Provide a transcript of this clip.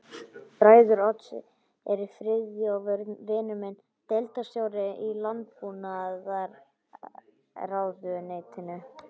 Bræður Odds eru Friðþjófur vinur minn, deildarstjóri í landbúnaðarráðuneytinu